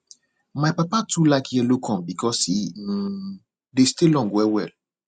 my papa too like yellow corn because e um dey stay long well well